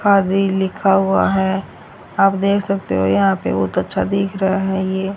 आदि लिखा हुआ है आप देख सकते हो यहां पे बहुत अच्छा दिख रहा है ये।